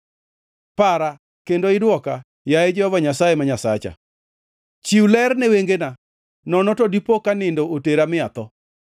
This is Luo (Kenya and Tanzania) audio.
Para kendo idwoka, yaye Jehova Nyasaye Nyasacha. Chiw ler ne wengena, nono to dipo ka nindo otera mi atho;